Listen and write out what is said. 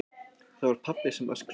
Það var pabbi sem öskraði.